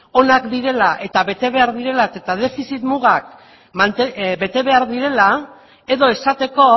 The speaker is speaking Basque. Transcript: onak direla eta bete behar direla eta defizit mugak bete behar direla edo esateko